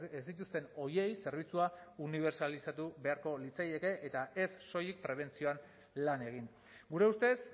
ez dituzten horiei zerbitzua unibertsalizatu beharko litzaieke eta ez soilik prebentzioan lan egin gure ustez